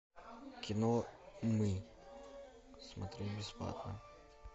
кино мы смотреть бесплатно